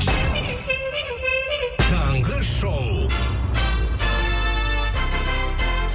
таңғы шоу